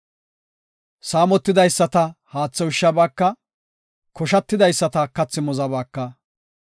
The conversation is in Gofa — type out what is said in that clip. Saamotidaysata haathe ushshabaaka; koshatidaysata kathi muzabaaka.